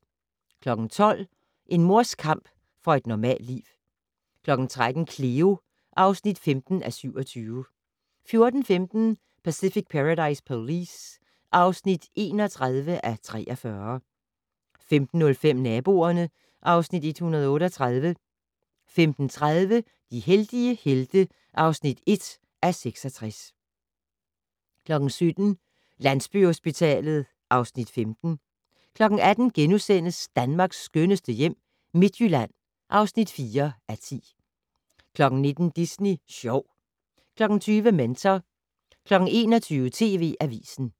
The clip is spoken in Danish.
12:00: En mors kamp for et normalt liv 13:00: Cleo (15:27) 14:15: Pacific Paradise Police (31:43) 15:05: Naboerne (Afs. 138) 15:30: De heldige helte (1:66) 17:00: Landsbyhospitalet (Afs. 15) 18:00: Danmarks skønneste hjem - Midtjylland (4:10)* 19:00: Disney Sjov 20:00: Mentor 21:00: TV Avisen